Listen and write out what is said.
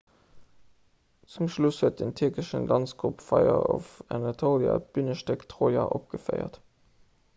zum schluss huet den tierkeschen danzgrupp fire of anatolia d'bünestéck troja opgeféiert